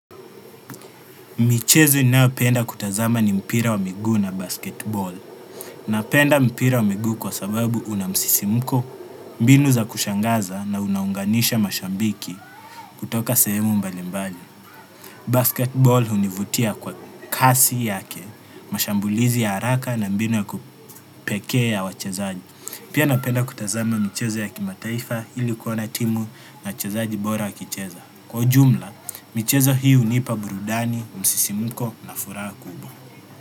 Michezo ninayopenda kutazama ni mpira wa miguu na basketball. Napenda mpira wa miguu kwa sababu una msisimuko, mbinu za kushangaza na unaunganisha mashabiki kutoka sehemu mbali mbali. Basketball hunivutia kwa kasi yake, mashambulizi ya haraka na mbinu ya kupekee ya wachezaji. Pia napenda kutazama michezo ya kimataifa ili kuona timu na wachezaji bora wakicheza. Kwa ujumla, michezo hii hunipa burudani, msisimuko na furaha kubwa.